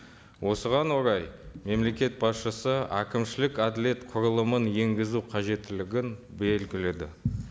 осыған орай мемлекет басшысы әкімшілік әділет құрылымын енгізу қажеттілігін белгіледі